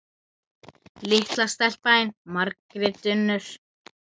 Litla stelpan þín, Margrét Unnur.